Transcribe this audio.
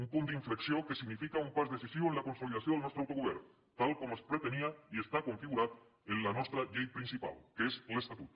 un punt d’inflexió que significa un pas decisiu en la consolidació del nostre autogovern tal com es pretenia i està configurat en la nostra llei principal que és l’estatut